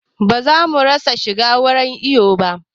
Ba za mu bari yara su shiga wurin iyo ba